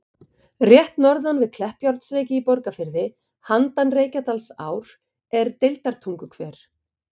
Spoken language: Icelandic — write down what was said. Rétt norðan við Kleppjárnsreyki í Borgarfirði, handan Reykjadalsár, er Deildartunguhver.